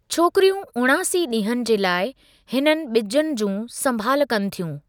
छोकिरियूं उणासी डीं॒हनि जे लाइ हिननि बि॒जनि जूं संभाल कनि थियूं।